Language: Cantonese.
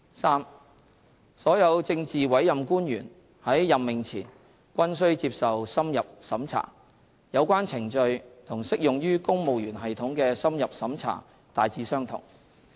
三所有政治委任官員在任命前均須接受深入審查，有關程序與適用於公務員系統的深入審查大致相同。